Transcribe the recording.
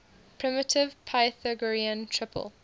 primitive pythagorean triple